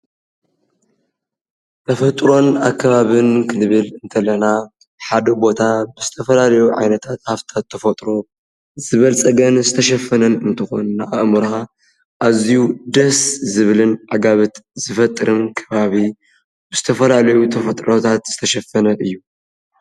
ተፈጥሮን ኣከባብን ክንብል ከለና ሓደ ቦታ ብዝተፈላለዩ ዓይነታት ሃፍትታት ተፈጥሮ ዝበልፀገን ዝተሸፈነን እንትኾን ንኣእምሮኻ ኣዝዩ ደስ ዝብልን ዕጋበት ዝፈጥርን ከባቢ ብዝተፈላለዩ ተፈጥሮታት ዝተሸፈነን እዩ፡፡